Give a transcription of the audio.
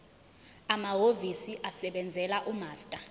amahhovisi asebenzela umaster